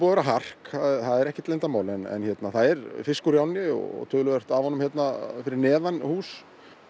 vera hark það er ekkert leyndarmál en það er fiskur í ánni og töluvert af honum hérna fyrir neðan hús